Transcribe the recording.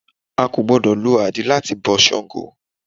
A kò gbọ́dọ̀ lo àdín lá ti bọ Sàngó